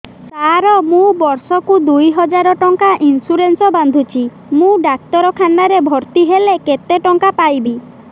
ସାର ମୁ ବର୍ଷ କୁ ଦୁଇ ହଜାର ଟଙ୍କା ଇନ୍ସୁରେନ୍ସ ବାନ୍ଧୁଛି ମୁ ଡାକ୍ତରଖାନା ରେ ଭର୍ତ୍ତିହେଲେ କେତେଟଙ୍କା ପାଇବି